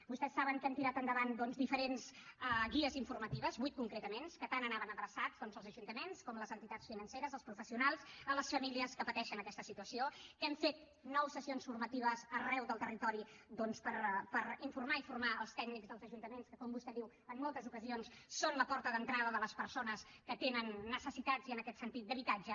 vostès saben que hem tirat endavant doncs diferents guies informatives vuit concretament que tant anaven adreçades als ajuntaments com a les entitats financeres als professionals a les famílies que pateixen aquesta situació que hem fet nou sessions formatives arreu del territori per informar i formar els tècnics dels ajuntaments que com vostè diu en moltes ocasions són la porta d’entrada de les persones que tenen necessitats i en aquest sentit d’habitatge